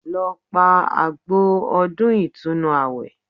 Lọ pa àgbò ọdún ìtúnu àwẹ̀